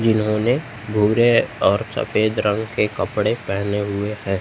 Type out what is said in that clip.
जिन्होंने भूरे और सफेद रंग के कपड़े पहने हुए हैं।